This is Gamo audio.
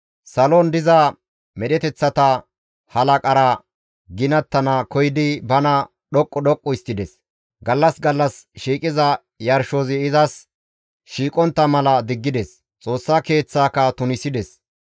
Salon diza medheteththata halaqara ginattana koyidi bana dhoqqu doqqu histtides; gallas gallas shiiqiza yarshozi izas shiiqontta mala diggides; Xoossa Keeththaaka tunisides.